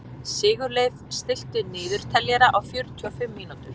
Sigurleif, stilltu niðurteljara á fjörutíu og fimm mínútur.